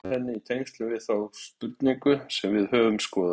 Við getum svarað henni í tengslum við þá spurningu sem við höfum skoðað.